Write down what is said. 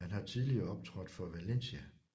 Han har tidligere optrådt for Valencia